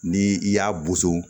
Ni i y'a boso